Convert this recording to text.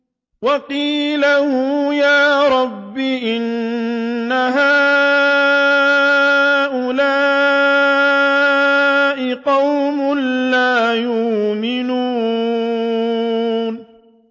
وَقِيلِهِ يَا رَبِّ إِنَّ هَٰؤُلَاءِ قَوْمٌ لَّا يُؤْمِنُونَ